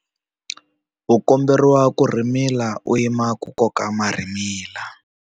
U komberiwa ku rhimila u yima ku koka marhimila.